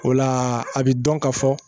O la a bi dɔn ka fɔ